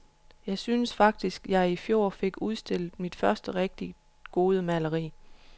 Jeg synes faktisk, jeg i fjor fik udstillet mit første rigtig gode maleri.